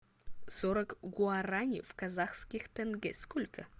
сорок гуарани в казахских тенге сколько